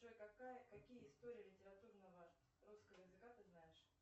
джой какие истории литературного русского языка ты знаешь